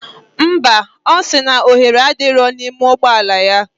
Ḿbà. osiri na ohere adiro na ime ụgbọla ya.